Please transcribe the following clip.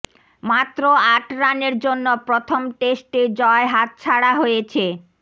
মাত্র আট রানের জন্য প্রথম টেস্টে জয় হাতছাড়া হয়েছে